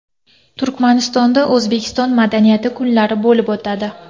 Turkmanistonda O‘zbekiston madaniyati kunlari bo‘lib o‘tadi.